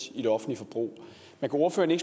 i det offentlige forbrug men kan ordføreren